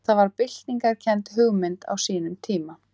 Það var byltingarkennd hugmynd á sínum tíma.